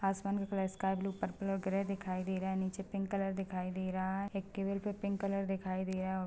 आसमान का colour sky blue purple और ग्रे दिखाई दे रहा हैं नीचे पिंक कलर दिखाई दे रहा हैं एक टेबल पे पिंक कलर दिखाई दे रहा हैं।